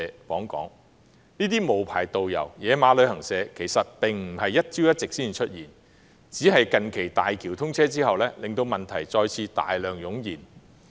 其實，這些無牌導遊及"野馬"旅行社的出現並非一朝一夕，只是近期大橋通車後令問題再次大量湧現。